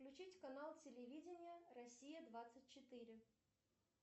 включить канал телевидения россия двадцать четыре